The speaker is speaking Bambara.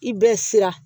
I bɛ siran